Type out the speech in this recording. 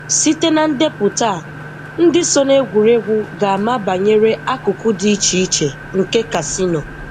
Site na ndepụta a, ndị so n'egwuregwu ga-ama banyere akụkụ dị iche iche nke kasino.